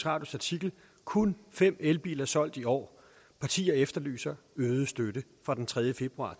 artikel kun fem elbiler solgt i år partier efterlyser øget støtte fra den tredje februar